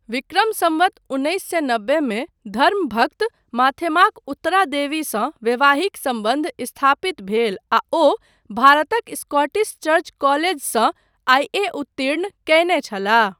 विक्रम सम्वत उन्नैस सए नब्बे मे धर्मभक्त माथेमाक उत्तरादेवीसँ वैवाहिक सम्बन्ध स्थापित भेल आ ओ भारतक स्कटिस चर्च कलेजसँ आई.ए.उत्तीर्ण करने छलाह।